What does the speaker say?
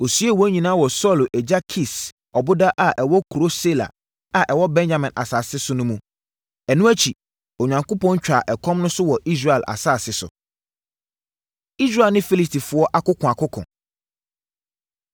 Ɔsiee wɔn nyinaa wɔ Saulo agya Kis ɔboda a ɛwɔ kuro Sela a ɛwɔ Benyamin asase so no mu. Ɛno akyi, Onyankopɔn twaa ɛkɔm no so wɔ Israel asase so. Israel Ne Filistifoɔ Akokoakoko